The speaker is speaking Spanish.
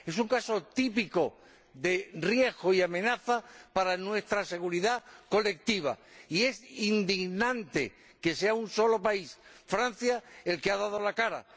Es un caso típico de riesgo y amenaza para nuestra seguridad colectiva, y es indignante que sea un solo país, Francia, el que ha dado la cara.